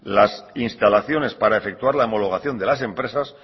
las instalaciones para efectuar la homologación de las empresas